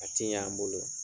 A t'i ɲa an bolo.